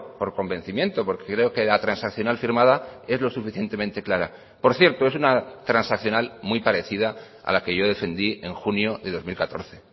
por convencimiento porque creo que la transaccional firmada es lo suficientemente clara por cierto es una transaccional muy parecida a la que yo defendí en junio de dos mil catorce